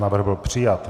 Návrh byl přijat.